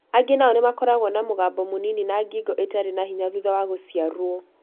Angĩ nao nĩ makoragwo na mũgambo mũnini na ngingo ĩtarĩ na hinya thutha wa gũciarũo.